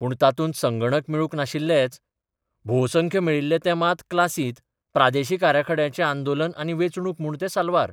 पूण तातूंत संगणक मेळूक नाशिल्लेच भोवसंख्य मेळिल्ले ते मात क्लासींत, प्रादेशीक आराखड्याचें आंदोलन आनी वेंचणूक म्हूण ते साल्वार.